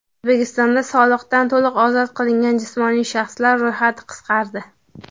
O‘zbekistonda soliqdan to‘liq ozod qilingan jismoniy shaxslar ro‘yxati qisqardi.